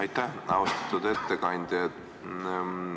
Aitäh, austatud ettekandja!